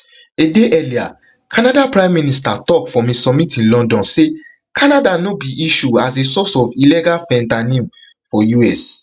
a day earlier canada pm tok from a summit in london say canada not be issue as a source of illegal fentanyl for us